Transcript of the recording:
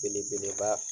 Belebeleba